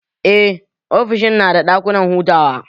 Eh, ofishin nada ɗakunan hutawa